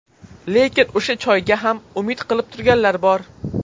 Lekin o‘sha choyga ham umid qilib turganlar bor.